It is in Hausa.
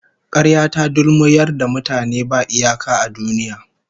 Karya ta dulmuyar da mutane ba iyaka a duniya